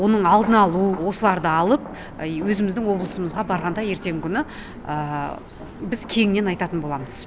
оның алдын алу осыларды алып өзіміздің облысымызға барғанда ертеңгі күні біз кеңінен айтатын боламыз